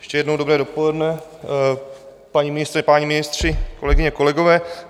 Ještě jednou dobré dopoledne, paní ministryně, páni ministři, kolegyně, kolegové.